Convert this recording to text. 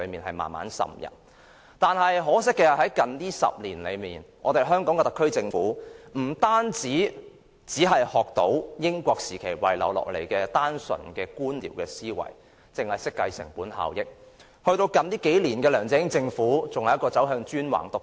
可惜，近10年來，特區政府只學到英治時期遺下的單純官僚思維，只懂得計算成本效益，到近數年的梁振英政府更走向專橫獨斷。